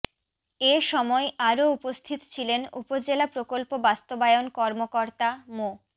এ সময় আরো উপস্থিত ছিলেন উপজেলা প্রকল্প বাস্তবায়ন কর্মকর্তা মো